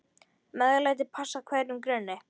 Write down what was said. MEÐLÆTI passar hverjum grunni.